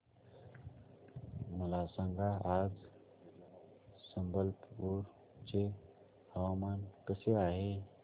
मला सांगा आज संबलपुर चे हवामान कसे आहे